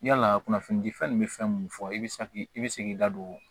Yala kunnafoni di fɛn nin bɛ fɛn minnu fɔ i bɛ i bɛ se k'i da don